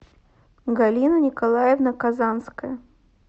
галина николаевна казанская